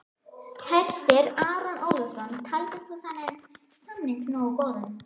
Hersir Aron Ólafsson: Taldir þú þennan samning nógu góðan?